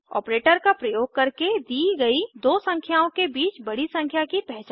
operator का प्रयोग करके दी गई दो संख्याओं के बीच बड़ी संख्या की पहचान करें